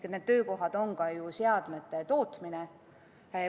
Need töökohad on seotud ka seadmete tootmisega.